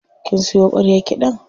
Kin siyo ƙwaryar kiɗan?